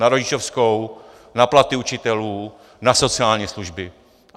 Na rodičovskou, na platy učitelů, na sociální služby.